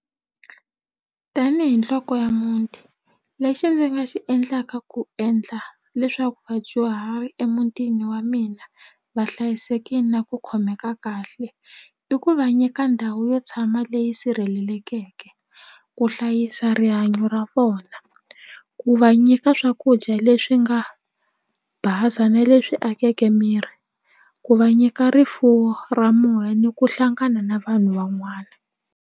Tanihi nhloko ya muti lexi ndzi nga xi endlaka ku endla leswaku vadyuhari emutini wa mina va hlayisekile na ku khomeka kahle i ku va nyika ndhawu yo tshama leyi sirhelelekeke ku hlayisa rihanyo ra vona ku va nyika swakudya leswi nga basa na leswi akeke miri ku va nyika rifuwo ra moya ni ku hlangana na vanhu van'wana.